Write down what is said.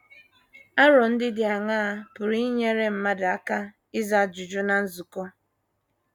Aro ndị dị aṅaa pụrụ inyere mmadụ aka ịza ajụjụ ná nzukọ?